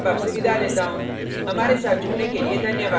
मैं यश वोरा अब आपसे विदा लेता हूँ